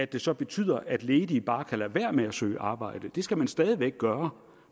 det så betyder at ledige bare kan lade være med at søge arbejde det skal man stadig væk gøre